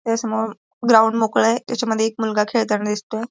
त्याज्या समोर ग्राउंड मोकळ ए त्याच्यामध्ये एक मुलगा खेळतानि दिसतोय.